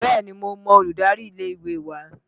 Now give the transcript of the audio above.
Bẹ́ẹ̀ni, mo mọ olùdarí ilé ìwé wa